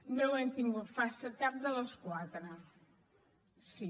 no ho hem tingut fàcil cap de les quatre sí